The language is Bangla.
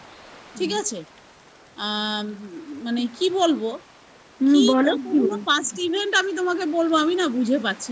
ঠিক আছে? আ মানে কি বলবো পুরো first event আমি তোমাকে বলবো আমি না বুঝে পাচ্ছি না